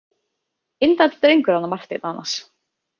Indæll drengur hann Marteinn annars.